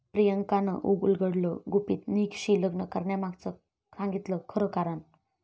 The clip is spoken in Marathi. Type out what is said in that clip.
प्रियांकानं उलगडलं गुपित, निकशी लग्न करण्यामागचं सांगितलं खरं कारण!